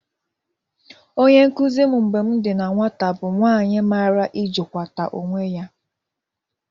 Onye nkụzị m mgbe m dị na nwata bụ nwaanyị mara ịjịkwakata onwe ya.